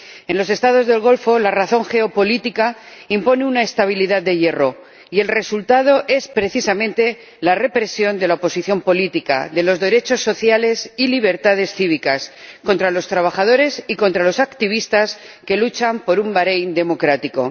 En los Estados del Golfo la razón geopolítica impone una estabilidad de hierro y el resultado es, precisamente, la represión de la oposición política, de los derechos sociales y las libertades cívicas, de los trabajadores y de los activistas que luchan por un Baréin democrático.